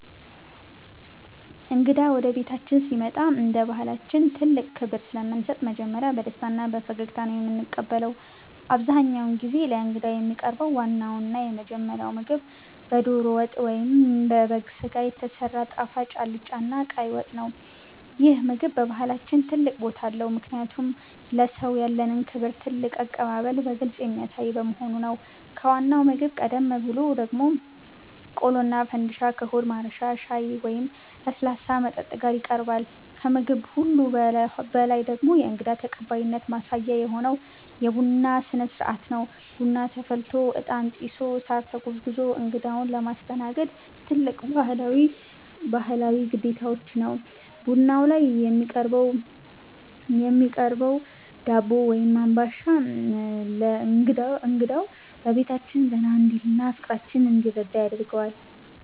እንግዳ ወደ ቤታችን ሲመጣ እንደ ባሕላችን ትልቅ ክብር ስለምንሰጥ መጀመሪያ በደስታና በፈገግታ ነው የምንቀበለው። አብዛኛውን ጊዜ ለእንግዳ የሚቀርበው ዋናውና የመጀመሪያው ምግብ በደሮ ወጥ ወይም በበግ ሥጋ የተሰራ ጣፋጭ አልጫና ቀይ ወጥ ነው። ይህ ምግብ በባሕላችን ትልቅ ቦታ አለው፤ ምክንያቱም ለሰውየው ያለንን ክብርና ትልቅ አቀባበል በግልጽ የሚያሳይ በመሆኑ ነው። ከዋናው ምግብ ቀደም ብሎ ደግሞ ቆሎና ፈንድሻ ከሆድ ማረሻ ሻይ ወይም ለስላሳ መጠጥ ጋር ይቀርባል። ከምግብ ሁሉ በላይ ደግሞ የእንግዳ ተቀባይነት ማሳያ የሆነው የቡና ሥነ-ሥርዓት ነው። ቡና ተፈልቶ፣ ዕጣን ጢሶ፣ ሳር ተጎዝጉዞ እንግዳውን ማስተናገድ ትልቅ ባሕላዊ ግዴታችን ነው። ቡናው ላይ የሚቀርበው ዳቦ ወይም አምባሻ እንግዳው በቤታችን ዘና እንዲልና ፍቅራችንን እንዲረዳ ያደርገዋል።